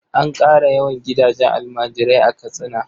An ƙara yawan gidajen almajirai a Katsina?